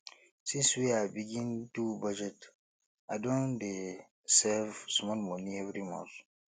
since wey i begin do budget i don dey save small moni every month